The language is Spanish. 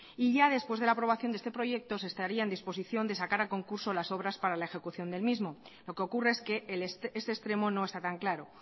y ya después de la aprobación de este proyecto se estaría en disposición de sacar a concurso las obras para la ejecución del mismo lo que ocurre es que ese extremo no está tan claro